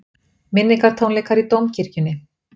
Minningartónleikar í Dómkirkjunni